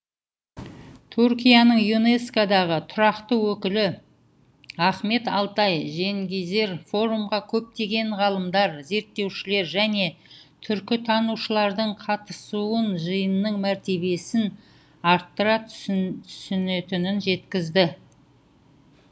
түркияның юнеско дағы тұрақты өкілі ахмет алтай женгизер форумға көптеген ғалымдар зерттеушілер және түркітанушылардың қатысуыжиынның мәртебесін арттыра түсінетінін жеткізді